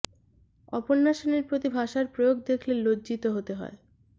অপর্ণা সেনের প্রতি ভাষার প্রয়োগ দেখলে লজ্জিত হতে হয়